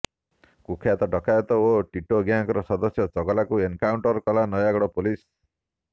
କୁଖ୍ୟାତ ଡକାୟତ ଓ ଟିଟୋ ଗ୍ୟାଙ୍ଗର ସଦସ୍ୟ ଚଗଲାକୁ ଏନକାଉଣ୍ଟର କଲା ନୟାଗଡ ପୋଲିସ୍